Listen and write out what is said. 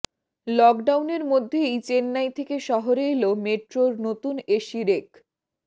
লকডাউনের মধ্যেই চেন্নাই থেকে শহরে এল মেট্রোর নতুন এসি রেক